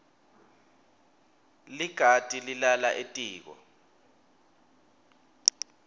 likati lilala etiko